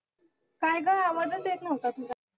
काय गं, आवाजच येत नव्हता तुझा.